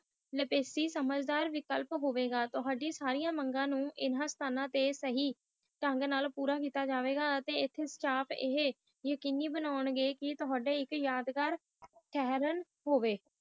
ਲੇਪੀਟੀ ਇਕ ਸਮਾਜਦਾਰ ਵਿਕਲਪ ਹੋਈ ਗਏ ਥੁੜਿਆ ਸਾਰੀਆਂ ਮੰਗਾ ਨੂੰ ਹਨ ਸਤਾਣਾ ਤੇ ਸਹੀ ਪੂਰਾ ਕੀਤਾ ਜਾਉ ਗਿਆ ਅਤੇ ਹੈ ਸਾਫ਼ ਯਕਣੀ ਬਾਨਾਂ ਗੇ ਕਿ ਵਾਦ ਗੈਰ ਚਾਨਣ ਹੋਈ